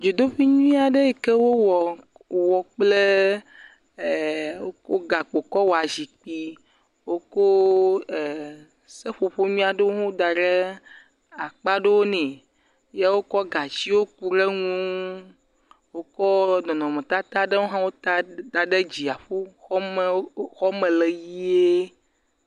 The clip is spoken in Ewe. Dzodoƒe nyui aɖe yi wowɔ wɔ kple gakpo kɔ wɔa zikpui, woko seƒoƒo nyui aɖewo hã da ɖe akpa aɖewo ne, ye wokɔ gatsiwo ku ɖe ŋu, wokɔ nɔnɔmetata ɖewo hã da ɖe dziaƒo, xɔ me le ʋɛ̃e.